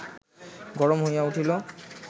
গরম হইয়া উঠিল